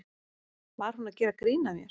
Var hún að gera grín að mér?